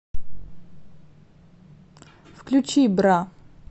включи бра